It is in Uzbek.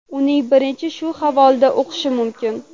Uning birinchisini shu havolada o‘qish mumkin.